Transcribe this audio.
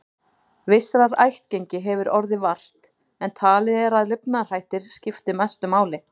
Vissrar ættgengi hefur orðið vart, en talið er að lifnaðarhættir skipti mestu máli.